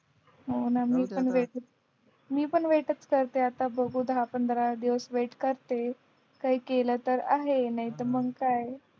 हो ना मी पण वेट च करतेय आता बघू दहा पंधरा दिवस वेट करते काय केलं तर आहे नाहीतर मग काय